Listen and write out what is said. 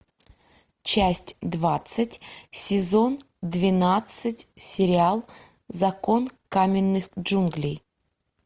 часть двадцать сезон двенадцать сериал закон каменных джунглей